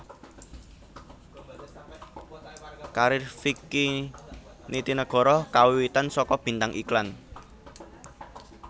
Karir Vicky Nitinegoro kawiwitan saka bintang iklan